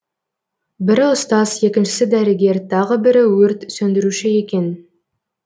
бірі ұстаз екіншісі дәрігер тағы бірі өрт сөндіруші екен